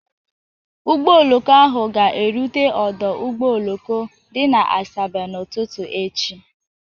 Ụgbọ oloko ahụ ga-erute ọdụ ụgbọ oloko dị na Asaba n'ụtụtụ echi